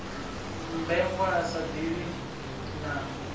mmbengwa a sa ḓivhi na